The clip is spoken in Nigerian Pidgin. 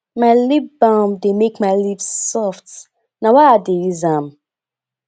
my lip balm dey make my lips soft na why i dey use am